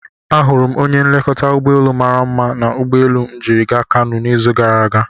Ahụrụ m onye nlekọta ụgbọelu mara mma na ụgbọelu m jiri gaa Kanu n'izu gara aga.